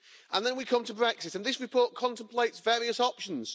Then we come to Brexit, and this report contemplates various options.